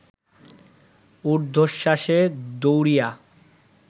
উর্ধ্বশ্বাসে দৌড়িয়া